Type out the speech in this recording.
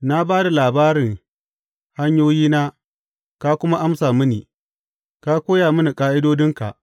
Na ba da labari hanyoyina ka kuma amsa mini; ka koya mini ƙa’idodinka.